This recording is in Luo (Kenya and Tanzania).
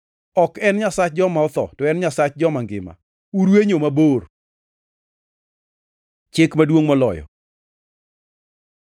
Ok en Nyasach joma otho, to en Nyasach joma ngima. Urwenyo mabor!” Chik maduongʼ moloyo